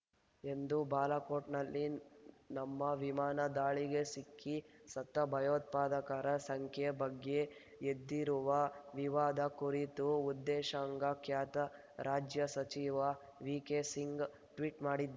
ಎಂದು ಬಾಲಾಕೋಟ್ ನಲ್ಲಿ ನಮ್ಮ ವಿಮಾನ ದಾಳಿಗೆ ಸಿಕ್ಕಿ ಸತ್ತ ಭಯೋತ್ಪಾದಕರ ಸಂಖ್ಯೆ ಬಗ್ಗೆ ಎದ್ದಿರುವ ವಿವಾದ ಕುರಿತು ಉದೇಶಾಂಗ ಖಾತೆ ರಾಜ್ಯ ಸಚಿವ ವಿಕೆಸಿಂಗ್ ಟ್ವೀಟ್ ಮಾಡಿದ್ದಾರೆ